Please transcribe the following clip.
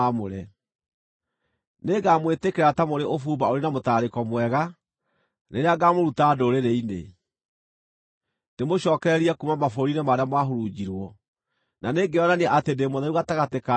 Nĩngamwĩtĩkĩra ta mũrĩ ũbumba ũrĩ na mũtararĩko mwega, rĩrĩa ngamũruta ndũrĩrĩ-inĩ, ndĩmũcookererie kuuma mabũrũri-inĩ marĩa mwahurunjirwo, na nĩngeyonania atĩ ndĩ mũtheru gatagatĩ kanyu maitho-inĩ ma ndũrĩrĩ.